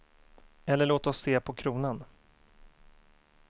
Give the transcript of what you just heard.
Eller låt oss se på kronan.